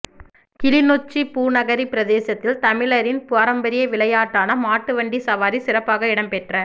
கிளிநொச்சி பூநகரி பிரதேசத்தில் தமிழரின் பாரம்பரிய விளையாட்டான மாட்டுவண்டிச் சவாரி சிறப்பாக இடம்பெற்ற